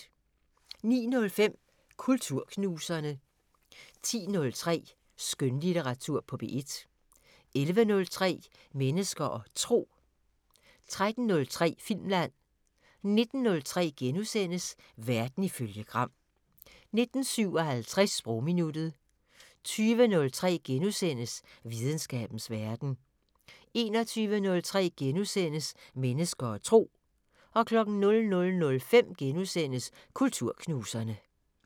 09:05: Kulturknuserne 10:03: Skønlitteratur på P1 11:03: Mennesker og Tro 13:03: Filmland 19:03: Verden ifølge Gram * 19:57: Sprogminuttet 20:03: Videnskabens Verden * 21:03: Mennesker og Tro * 00:05: Kulturknuserne *